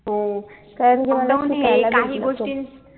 हो lockdown हे काही गोष्टी